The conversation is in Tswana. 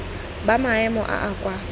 ba maemo a a kwa